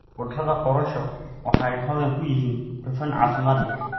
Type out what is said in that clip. Khudradda korosho waxay hodan ku yihiin dufan caafimaad leh.